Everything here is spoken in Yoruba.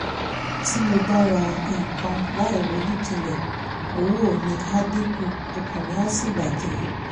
tí mo bá ń ra nǹkan láìronú jinlẹ̀ owó mi á dín kù ọkàn mi á sì bà jẹ́